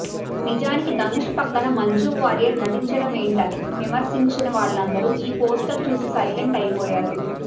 నిజానికి ధనుష్ పక్కన మంజూ వారియర్ నటించడమేంటని విమర్శించిన వాళ్లందరూ ఈ పోస్టర్ చూసి సైలెంట్ అయిపోయారు